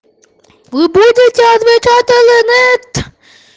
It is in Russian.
вы будете отвечать или нет